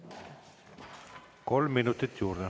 Kolm minutit juurde.